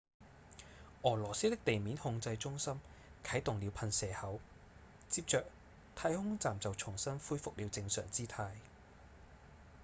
俄羅斯的地面控制中心啟動了噴射口接著太空站就重新恢復了正常姿態